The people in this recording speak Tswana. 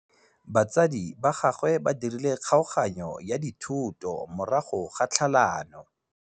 Batsadi ba gagwe ba dirile kgaoganyô ya dithoto morago ga tlhalanô.